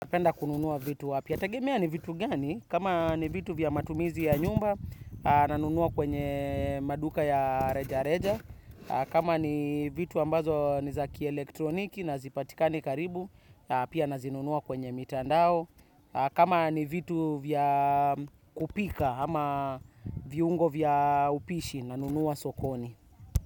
Penda kununua vitu wapi? Ya tegemea ni vitu gani? Kama ni vitu vya matumizi ya nyumba, nanunua kwenye maduka ya reja reja. Kama ni vitu ambazo ni zaki elektroniki na hazipatikani karibu, pia nazinunua kwenye mitandao. Kama ni vitu vya kupika ama viungo vya upishi, nanunua sokoni.